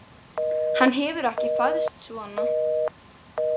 Hann hefur ekki fæðst svona.